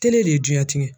Tele de ye duɲɛ tigɛ